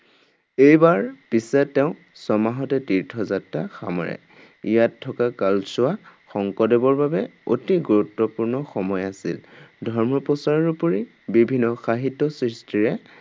এইবাৰ পিছে তেওঁ ছমাহতে তীৰ্থ যাত্ৰা সামৰে। ইয়াত থকা কালছোৱা শংকৰদেৱৰ বাবে অতি গুৰুত্বপূৰ্ণ সময় আছিল। ধৰ্ম প্ৰচাৰৰ উপৰি বিভিন্ন সাহিত্য সৃষ্টিৰে